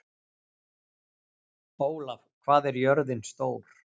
Ólaf, hvað er jörðin stór?